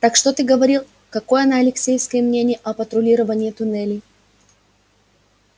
так что ты говорил какое на алексеевской мнение о патрулировании туннелей